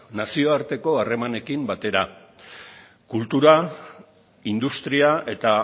nazioarteko harremanekin batera kultura industria eta